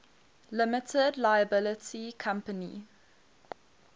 limited liability company